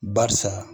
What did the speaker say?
Barisa